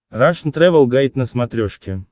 рашн тревел гайд на смотрешке